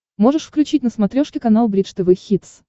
можешь включить на смотрешке канал бридж тв хитс